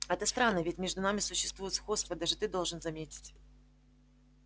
это странно ведь между нами существует сходство даже ты должен заметить